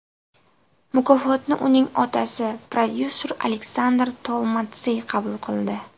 Mukofotni uning otasi, prodyuser Aleksandr Tolmatsiy qabul qildi.